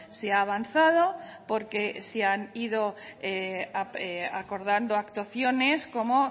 se ha avanzado porque se han ido acordando actuaciones como